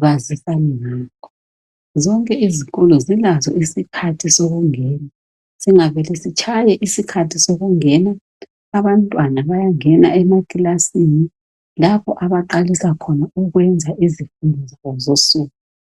bazisane ngakho. Zonke izikolo zilazo isikhathi sokungena singavele sitshaye isikhathi sokungena abantwana bayangena emakilasini lapho baqalisa khona ukwenza izifundo zabo zonsuku.